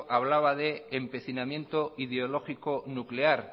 hablaba de empecinamiento ideológico nuclear